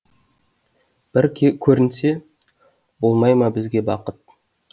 бір көрінсе болмай ма бізге бақыт